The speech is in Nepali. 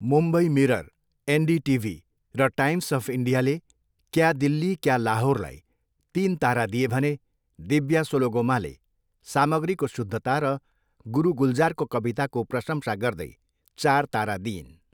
मुम्बई मिरर, एनडिटिभी र टाइम्स अफ इन्डियाले क्या दिल्ली, क्या लाहोरलाई तिन तारा दिए भने दिव्या सोलोगोमाले सामग्रीको शुद्धता र गुरु गुलजारको कविताको प्रशंसा गर्दै चार तारा दिइन्।